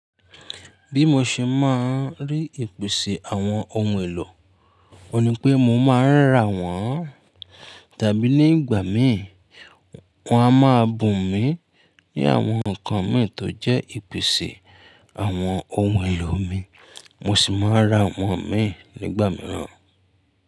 Bí mo ṣe máa ń rí ìpèsè àwọn ohun èlò, mo ní pé mo máa ń rà wọ́n tàbí nígbà mi wọ́n a máa bùn mi ní àwọn nǹkan mi tó jẹ́ ìpèsè àwọn ohun èlò mi mo sì máa ra àwọn mi nígbà mìíràn.